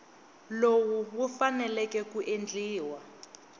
lowu wu faneleke ku endliwa